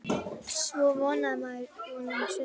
Svo vonaði maður, vonaði um stund.